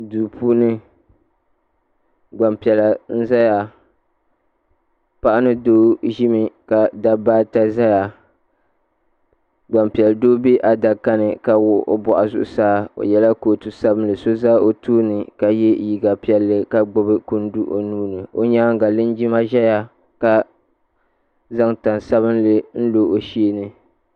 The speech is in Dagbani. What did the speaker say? Duu puuni gbaŋ piɛlla n zaya paɣa ni doo zimi ka dabba ata zaya gbaŋ piɛlli doo bɛ adaka maa ni ka wɔɣi o bɔɣu zuɣusaa o yela kootu sabinli so za o tooni ka ye liiga piɛlli ka gbubi kundi o nuu ni o yɛanga linjima zɛya ka zaŋ tani sabinli lo o ahɛɛ ni.